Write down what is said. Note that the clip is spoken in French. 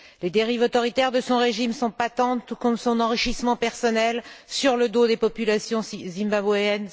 Les dérives autoritaires de son régime sont patentes, tout comme son enrichissement personnel sur le dos des populations zimbabwéennes.